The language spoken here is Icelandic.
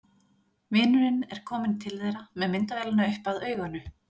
Vinurinn er kominn til þeirra með myndavélina upp að auganu.